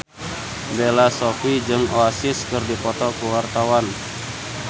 Bella Shofie jeung Oasis keur dipoto ku wartawan